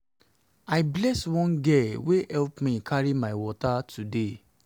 i bless one girl wey help me carry my water today